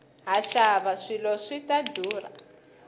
haxawa swilo swi ta ndhurha